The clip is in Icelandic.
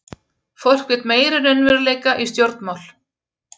Fólk vill meiri raunveruleika í stjórnmál